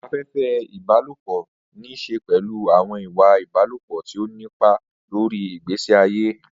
Afẹ́fẹ́ ìbálòpọ̀ ní í ṣe pẹ̀lú àwọn ìwà ìbálòpọ̀ tí ó ní ipa lórí ìgbésí ayé.